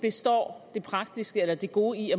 består det praktiske eller det gode i